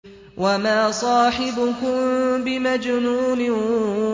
وَمَا صَاحِبُكُم بِمَجْنُونٍ